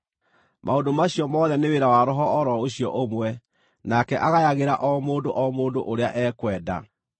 Maũndũ macio mothe nĩ wĩra wa Roho o ro ũcio ũmwe, nake agayagĩra o mũndũ o ũrĩa ekwenda.